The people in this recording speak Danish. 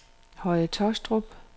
Høje Tåstrup